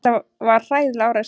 Þetta var hræðileg árás.